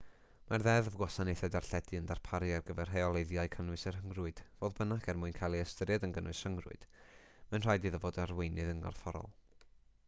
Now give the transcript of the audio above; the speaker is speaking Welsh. mae'r ddeddf gwasanaethau darlledu yn darparu ar gyfer rheoleiddio cynnwys y rhyngrwyd fodd bynnag er mwyn cael ei ystyried yn gynnwys rhyngrwyd mae'n rhaid iddo fod ar weinydd yn gorfforol